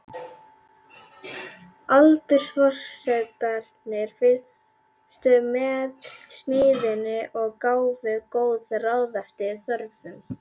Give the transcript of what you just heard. Aldursforsetarnir fylgdust með smíðinni og gáfu góð ráð eftir þörfum.